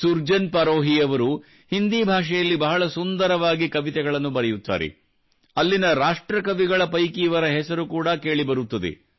ಸುರ್ಜನ್ ಪರೋಹಿ ಅವರು ಹಿಂದೀ ಭಾಷೆಯಲ್ಲಿ ಬಹಳ ಸುಂದರವಾಗಿ ಕವಿತೆಗಳನ್ನು ಬರೆಯುತ್ತಾರೆ ಅಲ್ಲಿನ ರಾಷ್ಟ್ರಕವಿಗಳ ಪೈಕಿ ಇವರ ಹೆಸರು ಕೂಡಾ ಕೇಳಿಬರುತ್ತದೆ